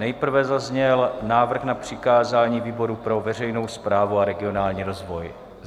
Nejprve zazněl návrh na přikázání výboru pro veřejnou správu a regionální rozvoj.